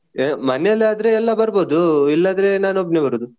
ಮನೆಯಲ್ಲಿ ಆದ್ರೆ ಎಲ್ಲ ಬರ್ಬೋದು ಇಲ್ಲದಿದ್ರೆ ನಾನ್ ಒಬ್ಬನೇ ಬರುದು.